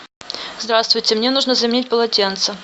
здравствуйте мне нужно заменить полотенца